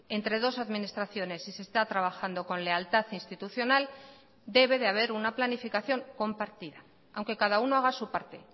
entre dos administraciones y se está trabajando con lealtad institucional debe de haber una planificación compartida aunque cada uno haga su parte